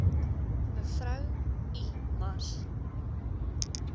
mev i mars